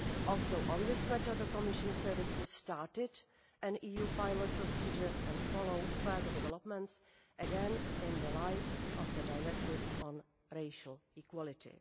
Also on this matter the Commission's services started an EU pilot procedure and are following further developments, again in the light of the Directive on Racial Equality.